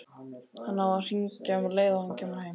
Hann á að hringja um leið og hann kemur heim.